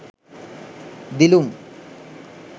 dilum